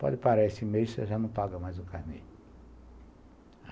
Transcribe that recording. Pode parar esse mês, você já não paga mais o carnê.